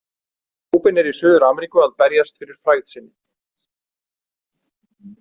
Rubin er í Suður- Ameríku að berjast fyrir frægð sinni.